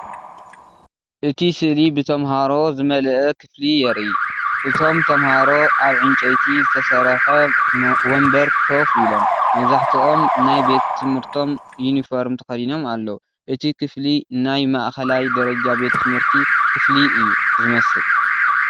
እቲ ስእሊ ብተምሃሮን ዝመልአ ክፍሊ የርኢ። እቶም ተማሃሮ ኣብ ዕንጨይቲ ዝተሰርሑ መንበር ኮፍ ኢሎም፡ መብዛሕትኦም ናይ ቤት ትምህርቶም ዩኒፎርምን ተኸዲኖም ኣለዉ። እቲ ክፍሊ ናይ ማእከላይ ደረጃ ቤት ትምህርቲ ክፍሊ እዩ ዝመስል።